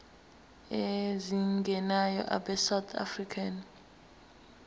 ezingenayo abesouth african